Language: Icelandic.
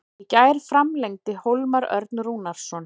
Í gær framlengdi Hólmar Örn Rúnarsson.